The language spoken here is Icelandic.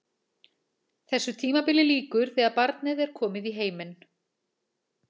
Þessu tímabili lýkur þegar barnið er komið í heiminn.